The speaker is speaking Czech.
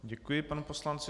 Děkuji panu poslanci.